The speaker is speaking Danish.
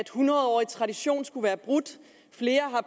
hundredårig tradition skulle være brudt flere har